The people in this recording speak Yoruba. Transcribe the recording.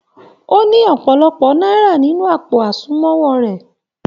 O ní ọpọlọpọ náírà nínú àpò àsùnwọ̀n rẹ.